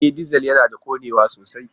E! Dizal yana da ƙonewa sosai.